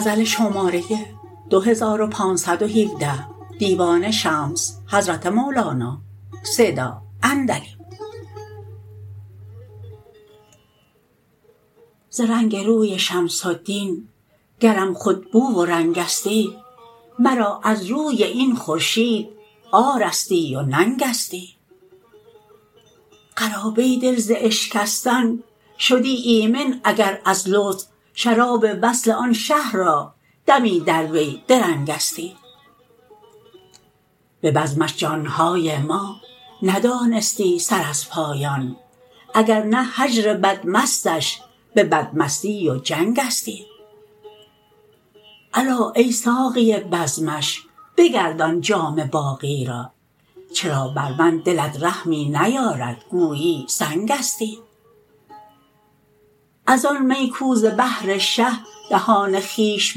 ز رنگ روی شمس الدین گرم خود بو و رنگستی مرا از روی این خورشید عارستی و ننگستی قرابه دل ز اشکستن شدی ایمن اگر از لطف شراب وصل آن شه را دمی در وی درنگستی به بزمش جان های ما ندانستی سر از پایان اگر نه هجر بدمستش به بدمستی و جنگستی الا ای ساقی بزمش بگردان جام باقی را چرا بر من دلت رحمی نیارد گویی سنگستی از آن می کو ز بهر شه دهان خویش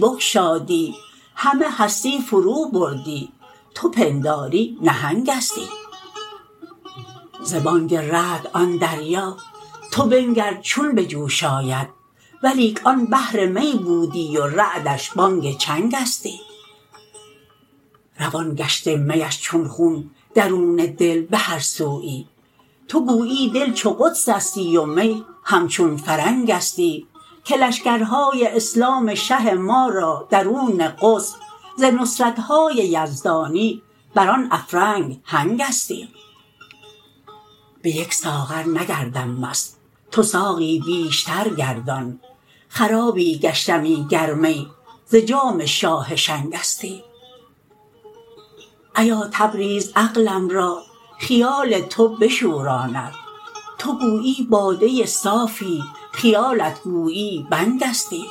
بگشادی همه هستی فروبردی تو پنداری نهنگستی ز بانگ رعد آن دریا تو بنگر چون به جوش آید ولیک آن بحر می بودی و رعدش بانگ چنگستی روان گشته میش چون خون درون دل به هر سویی تو گویی دل چو قدسستی و می همچون فرنگستی که لشکرهای اسلام شه ما را درون قدس ز نصرت های یزدانی بر آن افرنگ هنگستی به یک ساغر نگردم مست تو ساقی بیشتر گردان خرابی گشتمی گر می ز جام شاه شنگستی ایا تبریز عقلم را خیال تو بشوراند تو گویی باده صافی خیالت گویی بنگستی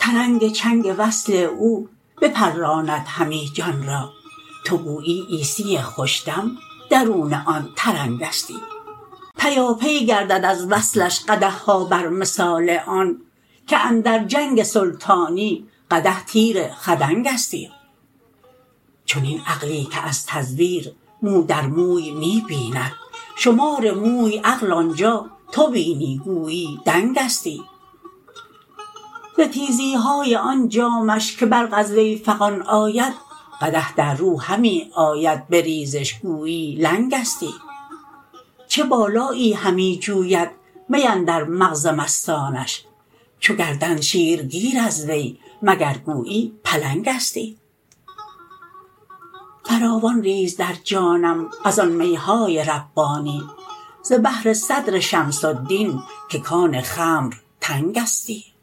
ترنگ چنگ وصل او بپراندهمی جان را تو گویی عیسی خوش دم درون آن ترنگستی پیاپی گردد از وصلش قدح ها بر مثال آن که اندر جنگ سلطانی قدح تیر خدنگستی چنین عقلی که از تزویر مو در موی می بیند شمار موی عقل آن جا تو بینی گویی دنگستی ز تیزی های آن جامش که برق از وی فغان آید قدح در رو همی آید بریزش گویی لنگستی چه بالایی همی جوید می اندر مغز مستانش چو گردند شیرگیر از وی مگر گویی پلنگستی فراوان ریز در جانم از آن می های ربانی ز بحر صدر شمس الدین که کان خمر تنگستی